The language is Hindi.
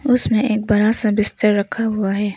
उसमें एक बड़ा सा बिस्तर रखा हुआ है।